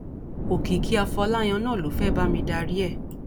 òkìkí afọláyàn náà ló fẹẹ bá mi darí ẹ